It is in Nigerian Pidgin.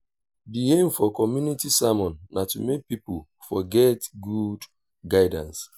di aim for community sermon na to make pipo for get good guidance